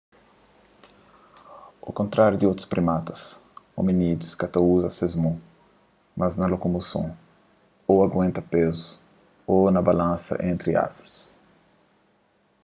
au kontráriu di otus primatas ominídius ka ta uza ses mon mas na lokomoson ô na aguenta pezu ô na balansa entri árvoris